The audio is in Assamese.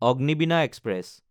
অগ্নিবীণা এক্সপ্ৰেছ